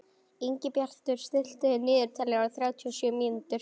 Ingibjartur, stilltu niðurteljara á þrjátíu og sjö mínútur.